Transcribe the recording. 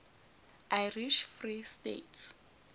irish free state